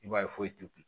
I b'a ye foyi tɛ